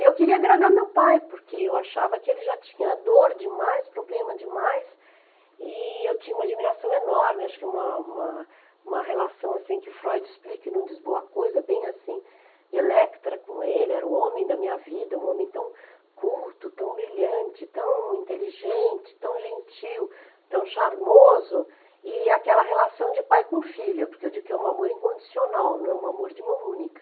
E eu queria agradar meu pai, porque eu achava que ele já tinha dor demais, problema demais, e eu tinha uma admiração enorme, acho que uma uma uma relação assim que Freud explica e não diz boa coisa, bem assim, de Electra com ele, era o homem da minha vida, um homem tão culto, tão brilhante, tão inteligente, tão gentil, tão charmoso, e aquela relação de pai com filha, porque eu digo que é um amor incondicional, né, um amor de mão única.